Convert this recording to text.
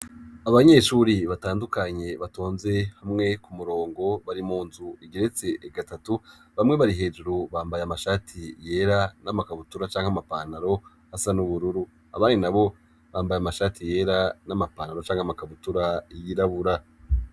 Abanyeshuri batandukanye batonze hamwe k'umurongo, bari munzu igeretse gatatu ,bamwe bari hejuru bambaye amashati yera, n'amakabutura canke amapantaro asa n'ubururu, abandi nabo bambaye amashati yera ,n'amapantaro canke amakabutura yirabura.